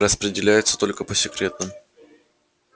распределяется только по секретным